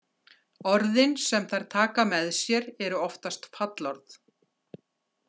Orðin sem þær taka með sér eru oftast fallorð.